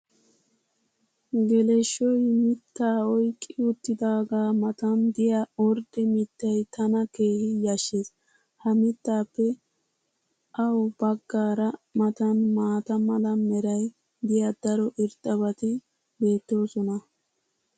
Geleshshoy mitaa oyqqi uttidaagaa matan diya ordde mitay tana keehi yashees. ha mitaappe ua bagaara matan maata mala meray diyo daro irxxabati beetoosona.